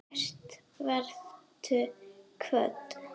Kært vertu kvödd.